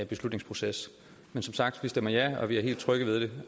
beslutningsproces som sagt stemmer vi ja og vi er helt trygge ved det